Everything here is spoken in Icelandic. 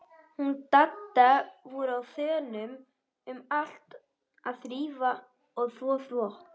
Hún og Dadda voru á þönum um allt að þrífa og þvo þvott.